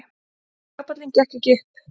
Kapallinn gekk ekki upp.